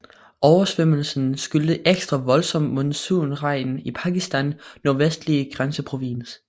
Oversvømmelsen skyldtes ekstra voldsom monsunregn i Pakistans Nordvestlige Grænseprovins